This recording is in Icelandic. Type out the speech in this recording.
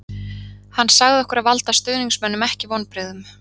Hann sagði okkur að valda stuðningsmönnum ekki vonbrigðum